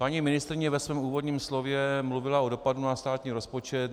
Paní ministryně ve svém úvodním slově mluvila o dopadu na státní rozpočet.